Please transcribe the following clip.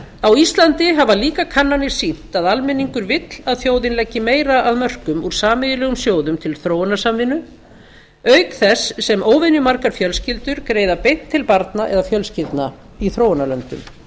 á íslandi hafa líka kannanir sýnt að almenningur vill að þjóðin leggi meira af mörkum úr sameiginlegum sjóðum til þróunarsamvinnu auk þess sem óvenjumargar fjölskyldur greiða beint til barna eða fjölskyldna í þróunarlöndum